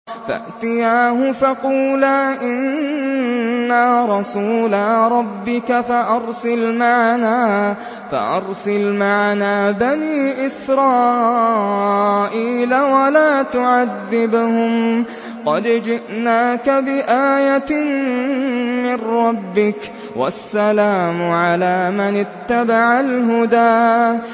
فَأْتِيَاهُ فَقُولَا إِنَّا رَسُولَا رَبِّكَ فَأَرْسِلْ مَعَنَا بَنِي إِسْرَائِيلَ وَلَا تُعَذِّبْهُمْ ۖ قَدْ جِئْنَاكَ بِآيَةٍ مِّن رَّبِّكَ ۖ وَالسَّلَامُ عَلَىٰ مَنِ اتَّبَعَ الْهُدَىٰ